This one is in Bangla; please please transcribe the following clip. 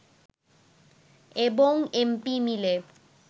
এবং এমপি মিলে